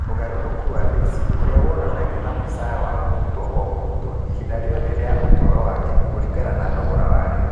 Ũgarũrũku wa LAYS ũrĩa wonanagio na mũcara wa mũrutwo o mũrutwo ihinda rĩothe rĩa ũtũũro wake kũringana na thogora wa rĩu